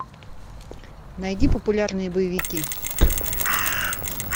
найди популярные боевики